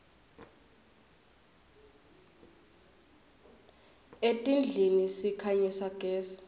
etindlini sikhanyisa gezi